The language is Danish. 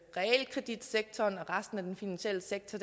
realkreditsektoren og resten af den finansielle sektor